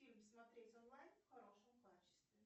фильм смотреть онлайн в хорошем качестве